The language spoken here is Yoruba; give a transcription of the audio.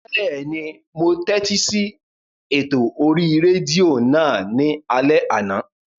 Bẹ́ẹ̀ni, mo tẹ́tí sí ètò orí rédíò náà ní alẹ́ àná